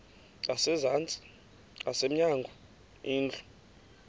ngasezantsi ngasemnyango indlu